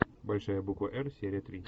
большая буква р серия три